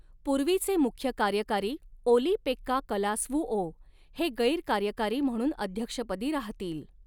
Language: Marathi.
पूर्वीचे मुख्य कार्यकारी ओली पेक्का कलास्वुओ हे गैर कार्यकारी म्हणून अध्यक्षपदी राहतील.